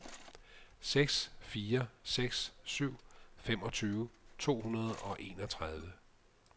seks fire seks syv femogtyve to hundrede og enogtredive